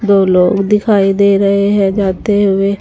दो लोग दिखाई दे रहे हैं जाते हुए।